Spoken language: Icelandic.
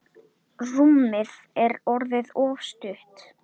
Rúmið er orðið of stutt.